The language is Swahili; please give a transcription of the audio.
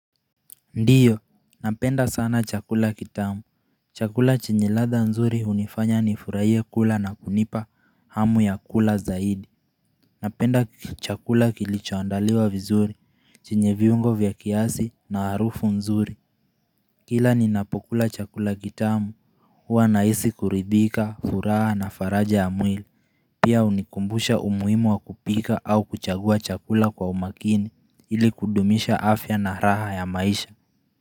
Ndiyo, napenda sana chakula kitamu chakula chenye ladha nzuri hunifanya ni furahie kula na kunipa hamu ya kula zaidi Napenda chakula kilichoandaliwa vizuri, chenye viungo vya kiasi na harufu nzuri Kila ninapokula chakula kitamu hua nahisi kuridhika, furaha na faraja ya mwili Pia hunikumbusha umuhimu wa kupika au kuchagua chakula kwa umakini ili kudumisha afya na raha ya maisha.